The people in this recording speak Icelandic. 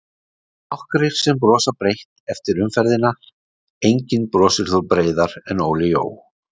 Nokkrir sem brosa breitt eftir umferðina:- Enginn brosir breiðar en Óli Jó.